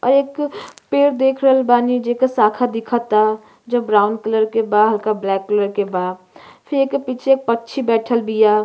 और एक पेड़ देख रहल बानी जेकर शाखा दिखता जो ब्राउन कलर के बा हल्का ब्लैक बा फिर एकर पीछे पंछी बइठल बिया।